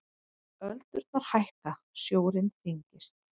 Öldurnar hækka, sjórinn þyngist.